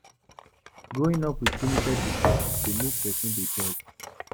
Growing up with limited resources dey make person dey dogged